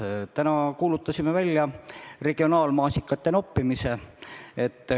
Aga täna kuulutasime välja regionaalmaasikate noppimise.